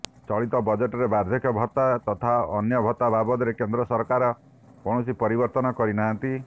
ଚଳିତ ବଜେଟରେ ବାର୍ଦ୍ଧକ୍ୟ ଭତ୍ତା ତଥା ଅନ୍ୟ ଭତ୍ତା ବାବଦରେ କେନ୍ଦ୍ର ସରକାର କୌଣସି ପରିବର୍ତ୍ତନ କରିନାହାନ୍ତି